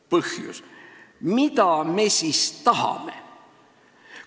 Põhjus: mida me siis tahame?